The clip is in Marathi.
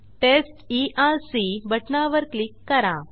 टेस्ट ईआरसी बटणावर क्लिक करा